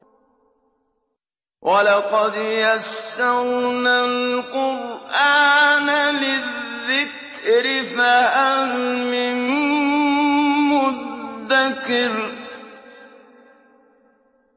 وَلَقَدْ يَسَّرْنَا الْقُرْآنَ لِلذِّكْرِ فَهَلْ مِن مُّدَّكِرٍ